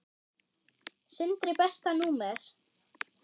Sindri Besta númer?